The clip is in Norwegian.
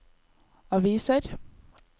aviser